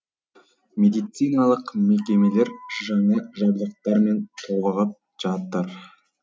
медициналық мекемелер жаңа жабдықтармен толығып жатыр